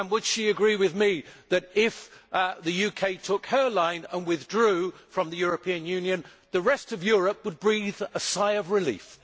Would she agree with me that, if the UK took her line and withdrew from the European Union, the rest of Europe would breathe a sigh of relief?